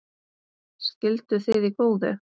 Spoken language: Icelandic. Skilduð þið í góðu?